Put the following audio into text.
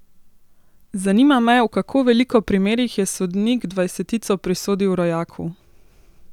Zanima me, v kako veliko primerih je sodnik dvajsetico prisodil rojaku?